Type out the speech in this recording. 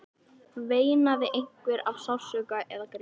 Veinaði einhver af sársauka eða grét?